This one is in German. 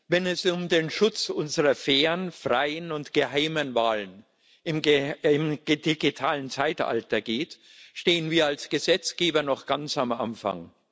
Wenn es um den Schutz unserer fairen, freien und geheimen Wahlen im digitalen Zeitalter geht, stehen wir als Gesetzgeber noch ganz am Anfang.